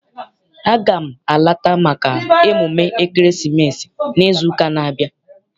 Aga m alata maka emume ekeresimesi n'izu ụka n'abia.